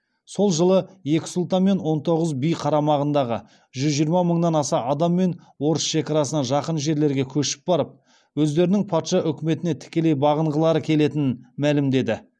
сол жылы екі сұлтан мен он тоғыз би қарамағындағы жүз жиырма мыңнан аса адамымен орыс шекарасына жақын жерлерге көшіп барып өздерінің патша өкіметіне тікелей бағынғылары келетінін мәлімдеді